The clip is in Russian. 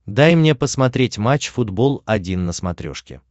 дай мне посмотреть матч футбол один на смотрешке